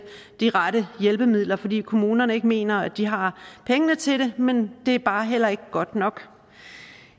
de rette hjælpemidler fordi kommunerne ikke mener at de har pengene til det men det er bare heller ikke godt nok